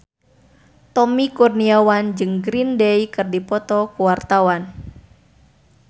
Tommy Kurniawan jeung Green Day keur dipoto ku wartawan